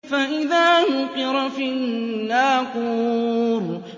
فَإِذَا نُقِرَ فِي النَّاقُورِ